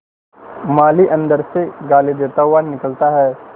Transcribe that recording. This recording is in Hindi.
माली अंदर से गाली देता हुआ निकलता है